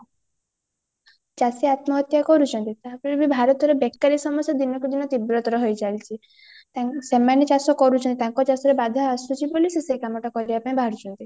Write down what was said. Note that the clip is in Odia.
ଚାଷୀ ଆତ୍ମହତ୍ୟା କରୁଚନ୍ତି ତାପରେ ବି ଭାରତର ବେକାରୀ ସମସ୍ୟା ଦିନକୁ ଦିନ ତୀବ୍ରତର ହେଇ ଚାଲିଚି ତେଣୁ ସେମାନେ ଚାଷ କରୁଚନ୍ତି ତାଙ୍କ ଚାଷରେ ବାଧା ଆସୁଚି ବୋଲି ସେ ସେଇ କମଟା କରିବା ପାଇଁ ବାହାରୁଚନ୍ତି